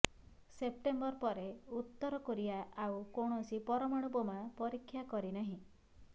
September ପରେ ଉତ୍ତର Korea ଆଉ କୌଣସି ପରମାଣୁ ବୋମା ପରୀକ୍ଷା କରିନାହିଁ